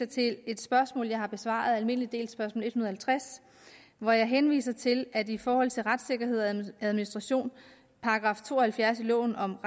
til et spørgsmål jeg har besvaret almindelig del spørgsmål en hundrede og halvtreds hvor jeg henviser til at i forhold til retssikkerhed og administration § to og halvfjerds i loven om